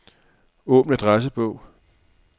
Åbn adressebog.